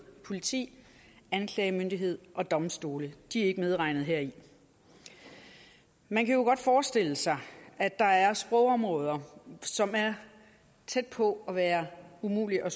politi anklagemyndighed og domstole de er ikke medregnet heri man kan jo godt forestille sig at der er sprogområder som er tæt på at være umulige at